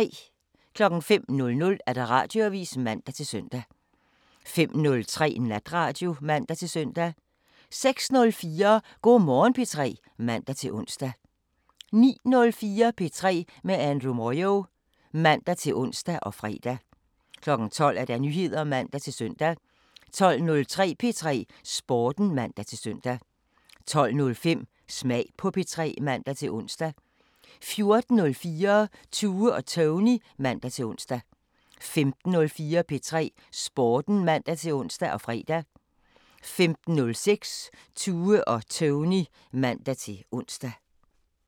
05:00: Radioavisen (man-søn) 05:03: Natradio (man-søn) 06:04: Go' Morgen P3 (man-ons) 09:04: P3 med Andrew Moyo (man-ons og fre) 12:00: Nyheder (man-søn) 12:03: P3 Sporten (man-søn) 12:05: Smag på P3 (man-ons) 14:04: Tue og Tony (man-ons) 15:04: P3 Sporten (man-ons og fre) 15:06: Tue og Tony (man-ons)